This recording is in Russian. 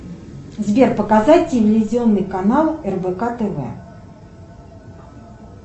сбер показать телевизионный канал рбк тв